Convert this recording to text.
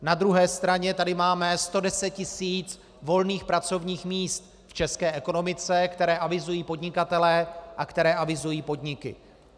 Na druhé straně tady máme 110 tis. volných pracovních míst v české ekonomice, která avizují podnikatelé a která avizují podniky.